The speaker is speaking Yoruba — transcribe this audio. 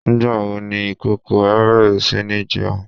Nígbà wo ni ìkókó ẹ bẹ̀rẹ̀ si ní jẹun?